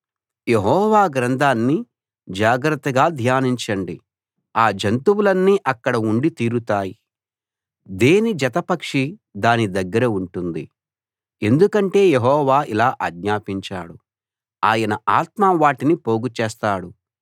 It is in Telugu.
యెహోవా గ్రంథాన్ని జాగ్రత్తగా ధ్యానించండి ఆ జంతువులన్నీ అక్కడ ఉండి తీరుతాయి దేని జతపక్షి దాని దగ్గర ఉంటుంది ఎందుకంటే యెహోవా ఇలా ఆజ్ఞాపించాడు ఆయన ఆత్మ వాటిని పోగు చేస్తాడు